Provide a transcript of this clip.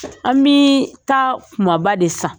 An mi taa kumaba de san.